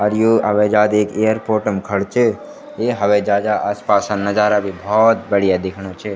अर यु हवेजाज एक एअरपोर्ट म खडू च ये हवेजाजा आस पासा नजारा भी भौत बढ़िया दिखेणु च।